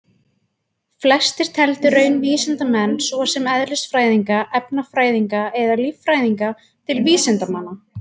Flestir teldu raunvísindamenn svo sem eðlisfræðinga, efnafræðinga eða líffræðinga til vísindamanna.